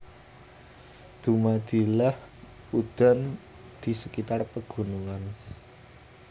Dumadilah udan di sekitar pegunungan